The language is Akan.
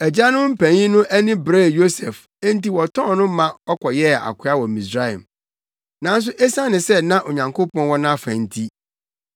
“Agyanom mpanyin no ani beree Yosef enti wɔtɔn no ma ɔkɔyɛɛ akoa wɔ Misraim. Nanso esiane sɛ na Onyankopɔn wɔ nʼafa nti